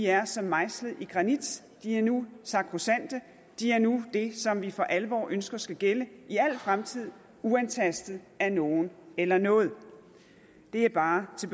er som mejslet i granit de er nu sakrosante de er nu det som vi for alvor ønsker skal gælde i al fremtid uantastet af nogen eller noget det er bare til